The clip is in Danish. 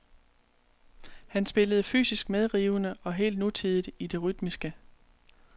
Han spillede fysisk medrivende og helt nutidigt i det rytmiske.